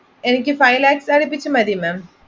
ചെയ്യാം അപ്പൊ എനിക്ക്